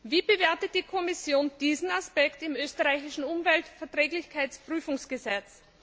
Wie bewertet die Kommission diesen Aspekt im österreichischen Umweltverträglichkeitsprüfungsgesetz?